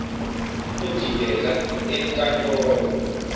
uzodinga enk antolo